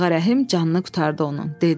Ağarəhim canını qurtardı onun, dedi.